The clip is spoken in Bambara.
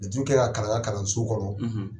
Laturu ka kan kɛ kalan an kɛ kalanso kɔnɔ.